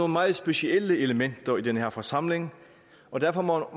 meget specielle elementer i den her forsamling og derfor må